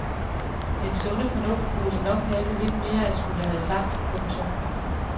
Den sunde fornuft burde nok have lidt mere at skulle have sagt. punktum